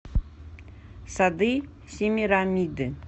сады семирамиды